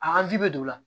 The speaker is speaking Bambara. A ji bɛ don o la